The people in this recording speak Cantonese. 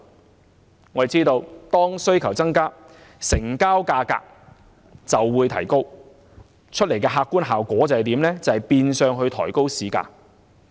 眾所周知，當需求增加，成交價格就會提高，客觀效果是變相抬高市價。